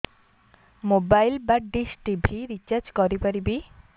mobile ବା dish TV recharge କରି ପାରିବି